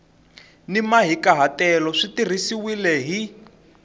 ni mahikahatelo swi tirhisiwile hi